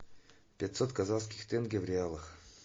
пятьсот казахских тенге в реалах